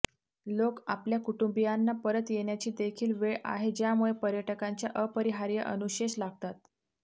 लोक आपल्या कुटुंबियांना परत येण्याची देखील वेळ आहे ज्यामुळे पर्यटकांच्या अपरिहार्य अनुशेष लागतात